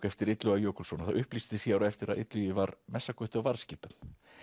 eftir Illuga Jökulsson það upplýsist á eftir að Illugi var messagutti á varðskipum